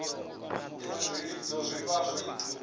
izwi zwilidzo zwi vha zwi